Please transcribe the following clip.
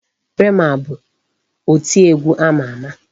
Rema bụ oti egwu ama ama.